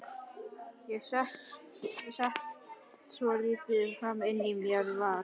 Ég set enga svoleiðis ólyfjan inn fyrir mínar varir.